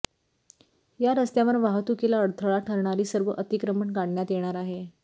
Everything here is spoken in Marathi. या रस्त्यांवर वाहतुकीला अडथळा ठरणारी सर्व अतिक्रमण काढण्यात येणार आहेत